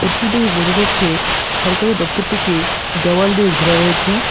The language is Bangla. ফোটো -টি দেখে বোঝা যাচ্ছে সরকারি দপ্তরটিকে দেওয়াল দিয়ে ঘেরা রয়েছে।